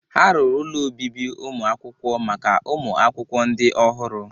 Ha ruru ụlọ obibi ụmụ akwụkwọ maka ụmụ akwụkwọ ndị ọhụrụ.